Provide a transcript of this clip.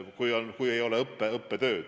Siis õppetööd ei ole.